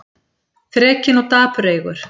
Þrekinn og dapureygur.